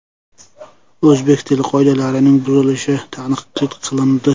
O‘zbek tili qoidalarining buzilishi tanqid qilindi.